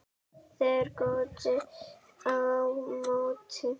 Þeir góndu á móti.